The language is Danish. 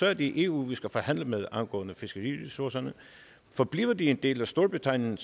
er det eu vi skal forhandle med angående fiskeriressourcerne forbliver de en del af storbritannien